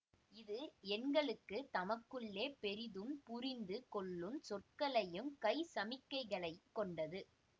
இது எண்களுக்கு தமக்குள்ளே பெரிதும் புரிந்து கொள்ளும் சொற்களையும் கை சமிக்கைகளைக் கொண்டது